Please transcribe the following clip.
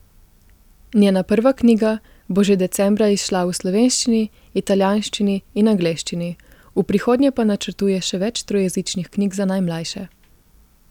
Njena prva knjiga bo že decembra izšla v slovenščini, italijanščini in angleščini, v prihodnje pa načrtuje še več trojezičnih knjig za najmlajše.